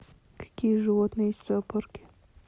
какие животные есть в зоопарке